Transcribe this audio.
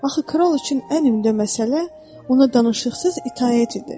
Axı kral üçün ən ümdə məsələ ona danışıqsız itaət idi.